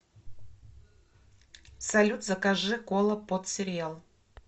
салют закажи кола под сериал